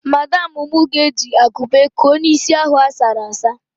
Madamụ mụ ga-eji akupe kuo n'isi ahụ asara asa.